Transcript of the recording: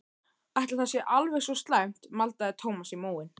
Ætli það sé alveg svo slæmt maldaði Thomas í móinn.